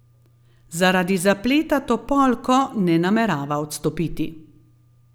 Zaradi zapleta Topolko ne namerava odstopiti.